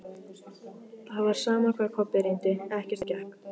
Það var sama hvað Kobbi reyndi, ekkert gekk.